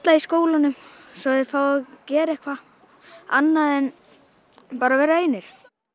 í skólanum svo þeir fái að gera eitthvað annað en bara að vera einir